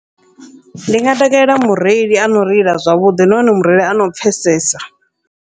Ndi nga takalela mureili ano reila zwavhuḓi, nahone mureili ano pfhesesa.